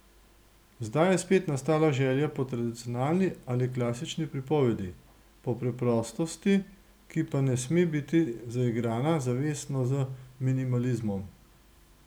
Zdaj je spet nastala želja po tradicionalni ali klasični pripovedi, po preprostosti, ki pa ne sme biti zaigrana zavestno z minimalizmom.